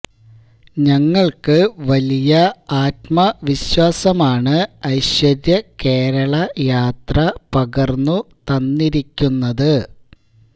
ഞങ്ങള്ക്ക് വലിയ ആത്മവിശ്വാസമാണ് ഐശ്വര്യ കേരള യാത്ര പകര്ന്നു തന്നിരിക്കുന്നത്